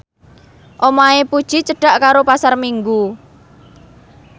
omahe Puji cedhak karo Pasar Minggu